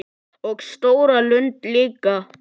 Og stóra lund líka.